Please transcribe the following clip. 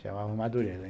Chamava Madureza.